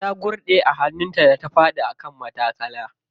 Ta gurɗe a hannun ta da ta faɗi a kan matattakala.